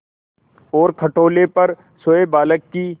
और खटोले पर सोए बालक की